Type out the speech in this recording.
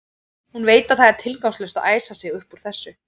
Hún veit að það er tilgangslaust að æsa sig upp út af þessu.